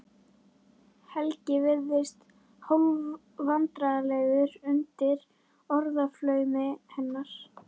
Helgi virðist hálfvandræðalegur undir orðaflaumi hennar.